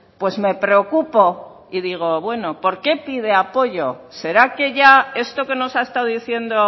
pues me preocupo y digo bueno por qué pide apoyo será que ya esto que nos ha estado diciendo